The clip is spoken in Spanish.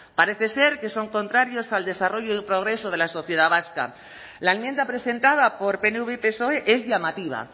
parece ser que son contrarios al desarrollo y progreso de la sociedad vasca la enmienda presentada por pnv y psoe es llamativa